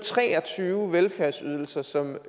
tre og tyve velfærdsydelser som